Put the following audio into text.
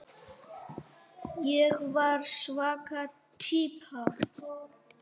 Ég var svaka týpa.